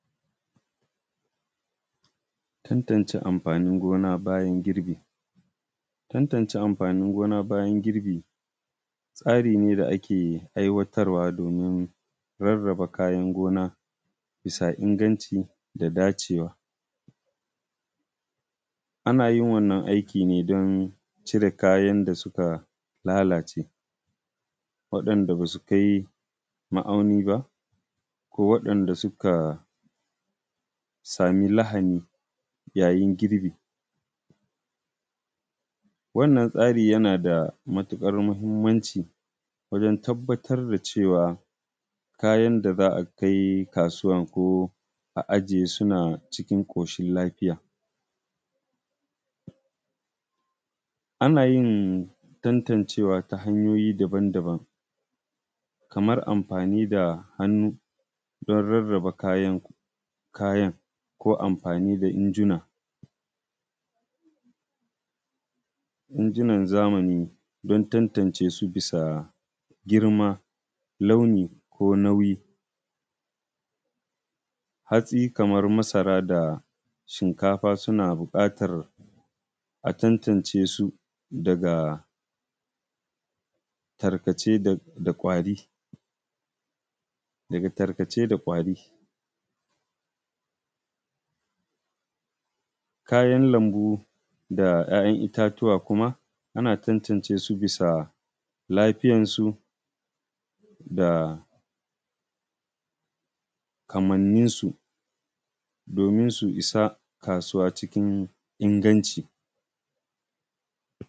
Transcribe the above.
Tantance amfanin gona bayan girbi. Tantance amfanin gona bayan girbi tsari ne da ake ai watarwa domin raraba kayan gona bisa inganci da dacewa. Ana yin wannan aikin ne don cire kayan da suka lalace waɗanda ba su kai ma'auni ba, ko waɗanda suka samu lahani yayin girbi, wannan tsari yana da matuƙar muhinmanci wajan tabatar da cewa kayan da za a kai kasuwan ko a ajiye suna cikin ƙoshin lafiya. Ana yin tantancewa ta hanyoyi daban daban kamar amfani da hannu don rarraba kayan, ko amfani da injina, injinan zamani don tantance su bisa girma, launi, ko nauyi. Hatsi kamar masara da shinkafa suna buƙatar a tantance su daga tarkace da ƙwari, kayan lambu da ‘ya’yan itatuwa kuma ana tantance su bisa lafiyasu, da kamannin su, domin su isa kasuwa cikin inganci.